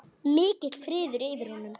Mikill friður yfir honum.